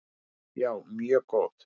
Já, mjög góð.